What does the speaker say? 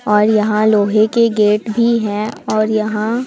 और यहां लोहे के गेट भी हैं और यहां--